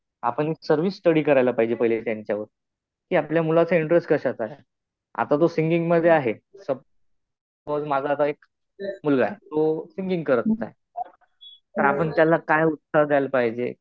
आपण एक survey study करायला पाहिजे पहिले त्यांच्यावर. कि आपल्या मुलाचा इंटरेस्ट कशात आहे. आता तो सिंगिंग मध्ये आहे. सपोझ माझा आता एक मुलगा आहे. तो सिंगिंग करत आहे. तर आपण त्याला काय उत्तर द्यायला पाहिजे?